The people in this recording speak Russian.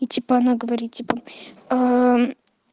ну типа она говорит типа